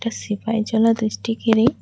সিপাহিজালা ডিস্ট্রিকের এই --